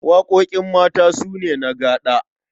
Waƙoƙin ƴanmata su ne na gaɗa.